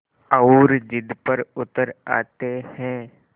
और ज़िद पर उतर आते हैं